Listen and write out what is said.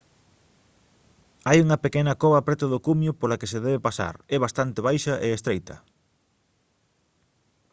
hai unha pequena cova preto do cumio pola que se debe pasar é bastante baixa e estreita